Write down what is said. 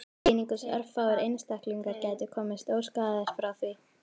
Einungis örfáir einstaklingar geti komist óskaddaðir frá því.